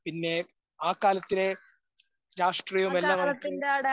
പിന്നേ ആ കാലത്തിലെ രാഷ്ട്രീയവുമെല്ലാം നമുക്ക്